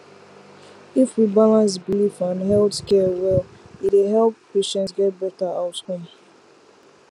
if we balance belief and health care well e dey help patient get better outcome